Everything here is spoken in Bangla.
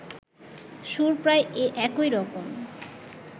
সুর প্রায় একইরকম